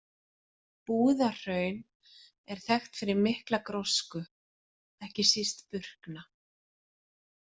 Búðahraun er þekkt fyrir mikla grósku, ekki síst burkna.